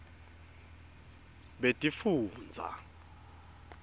betifundza